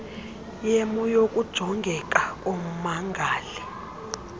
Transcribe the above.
yemo yokujongeka kommangali